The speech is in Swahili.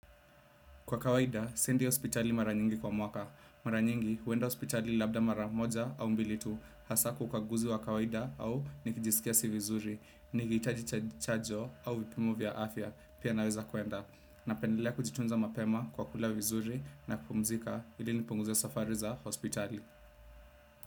Kwa kawaida, siendi hospitali mara nyingi kwa mwaka. Mara nyingi, huenda hospitali labda mara moja au mbili tu. Hasa kwa ukaguzi wa kawaida au nikijisikia si vizuri, nikihitaji chajo au vipimo vya afya. Pia naweza kwenda. Napendelea kujitunza mapema kwa kula vizuri na kupumzika ili nipunguze safari za hospitali.